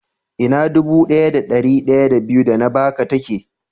Ina dubu daya da dari daya da biyu da na Baka ka tike?